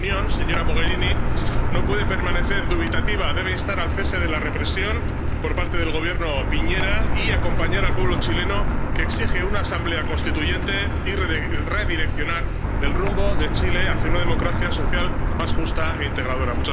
Y la Unión, señora Mogherini, no puede permanecer dubitativa debe instar al cese de la represión por parte del Gobierno de Piñera y acompañar al pueblo chileno, que exige una asamblea constituyente y redireccionar el rumbo de Chile hacia una democracia social más justa e integradora.